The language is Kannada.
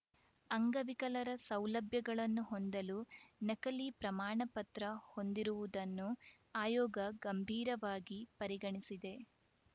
ಅಂಗವಿಕಲರ ಸೌಲಭ್ಯಗಳನ್ನು ಹೊಂದಲು ನಕಲಿ ಪ್ರಮಾಣಪತ್ರ ಹೊಂದಿರುವುದನ್ನು ಆಯೋಗ ಗಂಭೀರವಾಗಿ ಪರಿಗಣಿಸಿದೆ